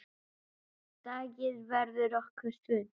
Deigið verður nokkuð þunnt.